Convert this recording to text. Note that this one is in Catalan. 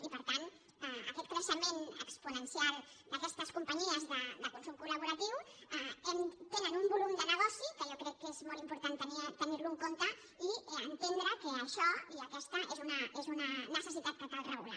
i per tant aquest creixement exponencial d’aquestes companyies de consum col·laboratiu tenen un volum de negoci que jo crec que és molt important tenir lo en compte i entendre que això i aquesta és una necessitat que cal regular